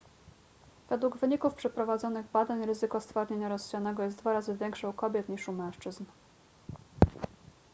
według wyników przeprowadzonych badań ryzyko stwardnienia rozsianego jest dwa razy większe u kobiet niż u mężczyzn